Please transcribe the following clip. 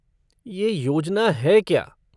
ये योजना है क्या?